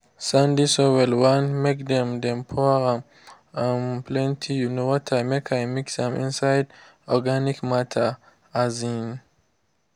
i de only de only spray when e de important especially when time for cloud and rain time deys